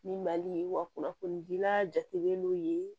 Ni mali wa kunnafoni dila jatigɛlen don yen